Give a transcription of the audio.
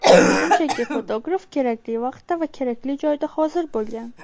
Shunchaki, fotograf kerakli vaqtda va kerakli joyda hozir bo‘lgan.